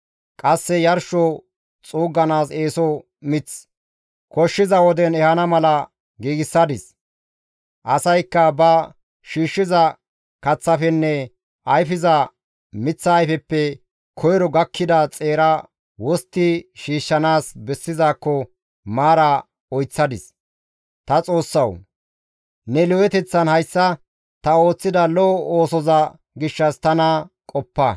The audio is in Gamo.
Qasse yarsho xuugganaas eeso mith koshshiza woden ehana mala giigsadis; asaykka ba shiishshiza kaththafenne ayfiza miththa ayfeppe koyro gakkida xeera wostti shiishshanaas bessizaakko maara oyththadis; ta Xoossawu! Ne lo7eteththan hayssa ta ooththida lo7o oosoza gishshas tana qoppa.